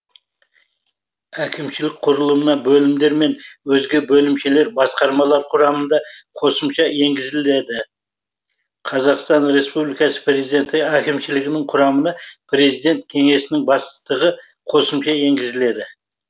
әкімшілік құрылымына бөлімдер мен өзге бөлімшелер басқармалар құрамында қосымша енгізілуді қазақстан республикасы президенті әкімшілігінің құрамына президент кеңсесінің бастығы қосымша енгізіледі